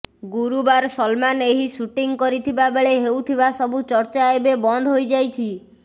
ଗୁରୁବାର ସଲମାନ ଏହି ଟୁଇଟ୍ କରିଥିବା ବେଳେ ହେଉଥିବା ସବୁ ଚର୍ଚ୍ଚା ଏବେ ବନ୍ଦ ହୋଇ ଯାଇଛି